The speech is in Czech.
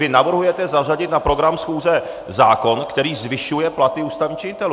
Vy navrhujete zařadit na program schůze zákon, který zvyšuje platy ústavních činitelů.